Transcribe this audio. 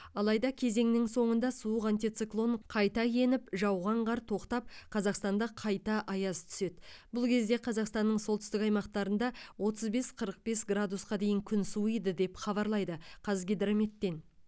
алайда кезеңнің соңында суық антициклон қайта еніп жауған қар тоқтап қазақстанда қайта аяз түседі бұл кезде қазақстанның солтүстік аймақтарында отыз бес қырық бес градусқа дейін күн суиды деп хабарлайды қазгидрометтен